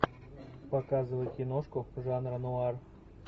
показывай киношку жанра нуар